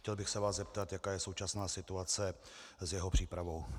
Chtěl bych se vás zeptat, jaká je současná situace s jeho přípravou.